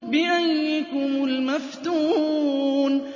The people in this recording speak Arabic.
بِأَييِّكُمُ الْمَفْتُونُ